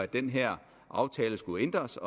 den her aftale skulle ændres